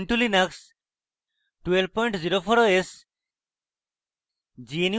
ubuntu linux 1204 os এবং